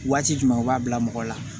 Waati jumɛn u b'a bila mɔgɔ la